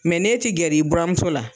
n'e ti gɛrɛ i buran muso la.